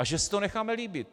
A že si to necháme líbit.